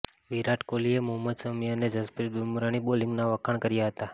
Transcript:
વિરાટ કોહલીએ મોહમ્મદ શમી અને જસપ્રીત બુમરાહની બોલિંગના વખાણ કર્યા હતાં